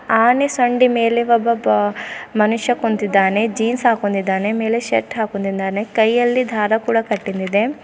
ಆನೆ ಸಂಡಿ ಮೇಲೆ ಒಬ್ಬ ಬ ಮನುಷ್ಯ ಕುಂತಿದ್ಧಾನೆ ಜೀನ್ಸ್ ಹಾಕೊಂಡಿದ್ದಾನೆ ಮೇಲೆ ಶರ್ಟ್ ಹಾಕೊಂಡಿದ್ದಾನೆ ಕೈಯಲ್ಲಿ ದಾರ ಕೂಡ ಕಟ್ಟಿದಿದೆ.